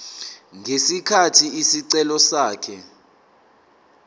ngesikhathi isicelo sakhe